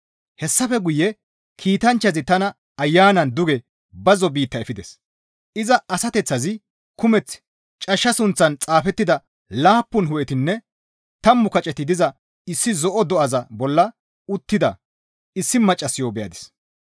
Hessafe guye kiitanchchazi tana Ayanan duge bazzo biitta efides; iza asateththazi kumeth cashsha sunththan xaafettida laappun hu7etinne tammu kaceti diza issi zo7o do7aza bolla uttida issi maccassayo beyadis.